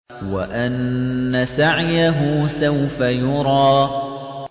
وَأَنَّ سَعْيَهُ سَوْفَ يُرَىٰ